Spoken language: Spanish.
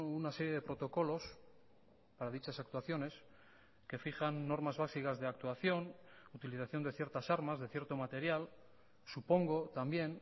una serie de protocolos para dichas actuaciones que fijan normas básicas de actuación utilización de ciertas armas de cierto material supongo también